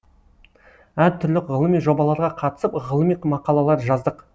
әр түрлі ғылыми жобаларға қатысып ғылыми мақалалар жаздық